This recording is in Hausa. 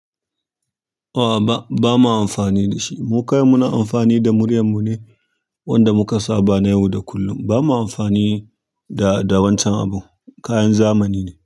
A'a ba, ba ma amfani da shi. Mu kai muna amfani da murya mu ne wanda muka saba na yau da kullum. Bama amfani da da wancan abun kayan zamani ne.